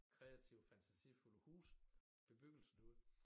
Kreative fantasifulde huse bebyggelse derude